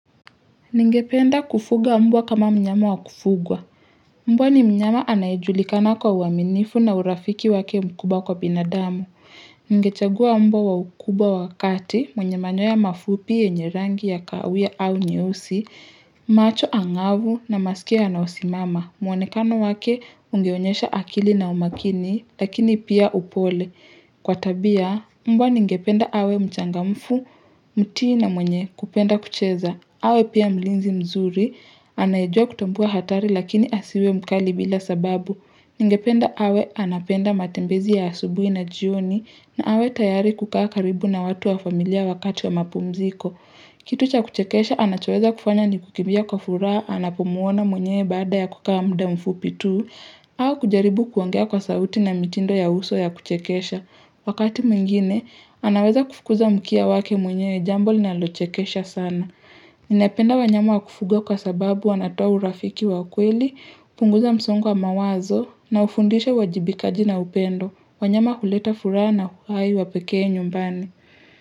Ningependa kufuga mbwa kama mnyama wakufugwa. Mbwa ni mnyama anayejulikana kwa uaminifu na urafiki wake mkubwa kwa binadamu. Ningechagua mbwa wa ukubwa wa kati mwenye manyoya mafupi yenye rangi ya kawia au nyeusi, macho angavu na masikio nayosimama. Mwonekano wake ungeonyesha akili na umakini lakini pia upole. Kwa tabia, mbwa ningependa awe mchangamfu, mti na mwenye kupenda kucheza. Awe pia mlinzi mzuri, anayejua kutambua hatari lakini asiwe mkali bila sababu. Ningependa awe anapenda matembezi ya asubui na jioni na awe tayari kukaa karibu na watu wa familia wakati wa mapumziko. Kitu cha kuchekesha anachoweza kufanya ni kukimbia kwa furaha anapomuona mwenyewe baada ya kukaa muda mfupi tu au kujaribu kuongea kwa sauti na mitindo ya uso ya kuchekesha. Wakati mwingine, anaweza kufukuza mkia wake mwenye jambo linalochekesha sana. Ninapenda wanyama wa kufuga kwa sababu wanatoa urafiki wa kweli, hupunguza msongo wa mawazo na ufundishe uwajibikaji na upendo, wanyama huleta furaha na uhai wapekee nyumbani.